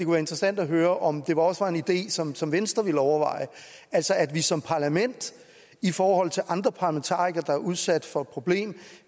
være interessant at høre om det også var en idé som som venstre ville overveje altså at vi som parlament i forhold til andre parlamentarikere der er udsat for det problem